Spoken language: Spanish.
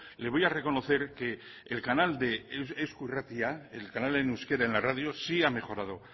le voy a reconocer que el canal de eusko irratia el canal en euskera en la radio sí ha mejorado